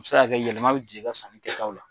O bɛ se ka yɛlɛma Bɛ don i ka san kɛ ta la.